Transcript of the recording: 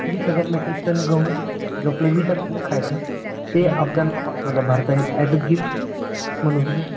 वीस हजार metric ton गहू जो आपलं असतं ना खायचं, ते अफगाणला पाठवलं भारताने एज अ गिफ्ट म्हणून